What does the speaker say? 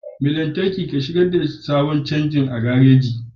Mai lantarki, shigar da sabon canji a cikin gareji.